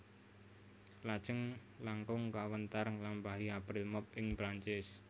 Lajeng langkung kawéntar nglampahi April Mop ing Prancis